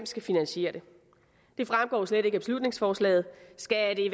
skal finansiere det det fremgår slet ikke af beslutningsforslaget skal